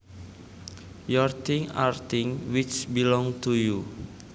Your things are things which belong to you